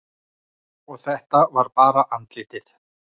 Og þetta var bara andlitið.